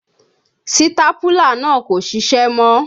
Sítápúlà náà kò ṣiṣẹ́ mọ́